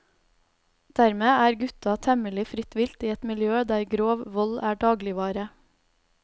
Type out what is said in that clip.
Dermed er gutta temmelig fritt vilt i et miljø der grov vold er dagligvare.